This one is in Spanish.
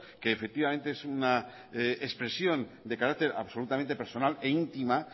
que efectivamente es una expresión de carácter absolutamente personal e intima